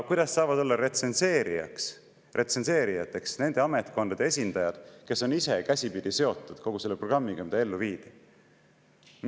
Kuidas saavad olla retsenseerijateks nende ametkondade esindajad, kes on ise käsipidi seotud kogu selle programmiga, mida ellu viidi?